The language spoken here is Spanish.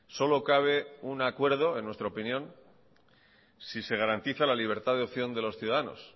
solo cabe un acuerdo en nuestra opinión si se garantiza la libertad de opción de los ciudadanos